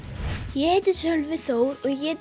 ég heiti Sölvi Þór og ég